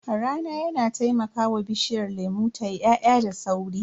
Rana yana taimakawa bishiyar lemu tayi ya'ya da sauri.